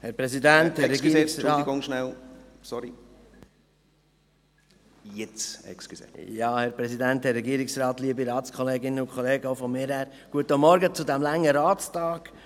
Herr Präsident, Herr Regierungsrat … Auch von mir guten Morgen zu diesem langen Ratstag.